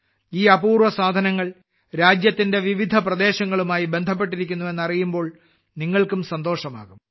ഈ അപൂർവ സാധനങ്ങൾ രാജ്യത്തിന്റെ വിവിധ പ്രദേശങ്ങളുമായി ബന്ധപ്പെട്ടിരിക്കുന്നു എന്നറിയുമ്പോൾ നിങ്ങൾക്കും സന്തോഷമാകും